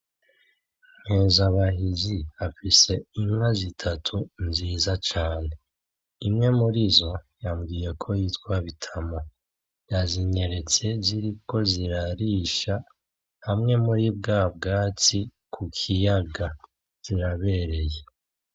Nkezabahizi afise inka zitatu nziza cane. Imwe murizo yambwiye ko yitwa Bitamo. Yazinyeretse ziriko zirarisha hamwe muri bwa bwatsi ku kiyaga. Zirabereye.